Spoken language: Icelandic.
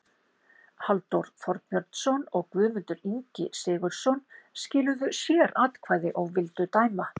Halldór Þorbjörnsson og Guðmundur Ingvi Sigurðsson skiluðu sératkvæði og vildu dæma